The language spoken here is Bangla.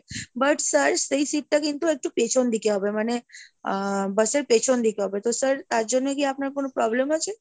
but sir সেই seat টা কিন্তু একটু পেছন দিকে হবে, মানে আহ bus এর পেছন দিকে হবে তো sir তার জন্য কি আপনার কোনো problem আছে?